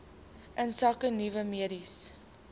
insake nuwe mediese